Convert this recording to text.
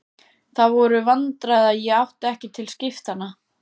Það voru vandræði að ég átti ekkert til skiptanna.